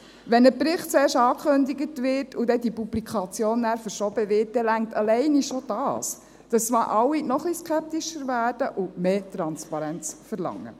Wenn ein Bericht zuerst angekündigt und die Publikation nachher verschoben wird, dann reicht alleine schon dies, dass alle noch ein bisschen skeptischer werden und mehr Transparenz verlangen.